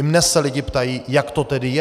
I mě se lidé ptají, jak to tedy je.